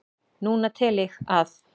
Núna tel ég að